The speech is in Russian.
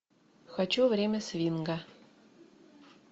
хочу время свинга